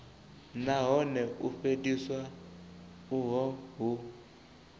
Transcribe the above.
nahone u fheliswa uho hu